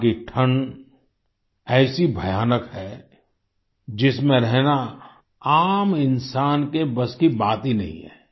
वहाँ की ठण्ड ऐसी भयानक है जिसमें रहना आम इंसान के बस की बात ही नहीं है